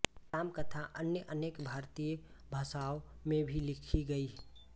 राम कथा अन्य अनेक भारतीय भाषाओं में भी लिखी गयीं